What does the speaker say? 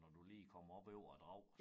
Når du lige kommer op over æ Drag